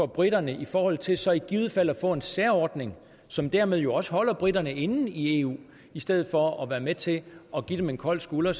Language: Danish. briterne i forhold til så i givet fald at få en særordning som dermed jo også holder briterne inde i eu i stedet for at være med til at give dem en kold skulder